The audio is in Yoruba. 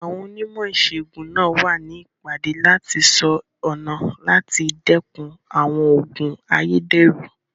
Àwọn onímọ̀ ìsègùn náà wà ní ìpàdé láti sọ ọ̀nà láti dẹ́kun àwọn òògùn ayédèrú.